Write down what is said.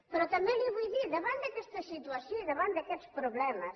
però també li vull dir davant d’aquesta situació i davant d’aquests problemes